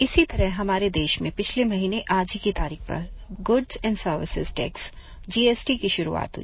इसी तरह हमारे देश में पिछले महीने आज ही की तारीख़ पर goods and services tax GST की शुरुआत हुई